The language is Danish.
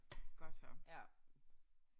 Godt så